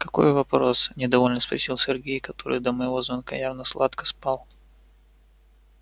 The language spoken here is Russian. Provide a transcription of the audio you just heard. какой вопрос недовольно спросил сергей который до моего звонка явно сладко спал